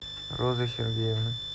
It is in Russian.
розы сергеевны